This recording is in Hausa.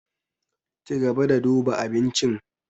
Cigaba da duba abincin.